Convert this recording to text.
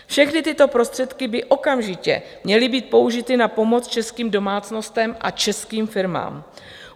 Všechny tyto prostředky by okamžitě měly být použity na pomoc českým domácnostem a českým firmám.